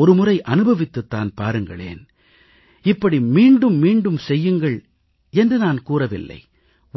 ஒருமுறை அனுபவித்துத் தான் பாருங்களேன் இப்படி மீண்டும் மீண்டும் செய்யுங்கள் என்று நான் கூறவில்லை